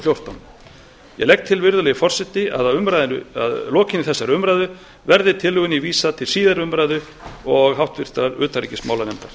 fjórtán ég legg til virðulegi forseti að að lokinni þessari umræðu verði tillögunni vísað til síðari umræðu og háttvirtrar utanríkismálanefndar